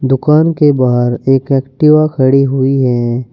दुकान के बाहर एक एक्टिवा खड़ी हुई है।